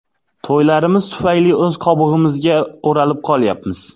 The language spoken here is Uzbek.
To‘ylarimiz tufayli o‘z qobig‘imizga o‘ralib qolyapmiz.